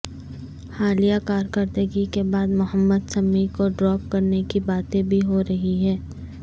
حالیہ کارکردگی کے بعد محمد سمیع کو ڈراپ کرنے کی باتیں بھی ہو رہی ہیں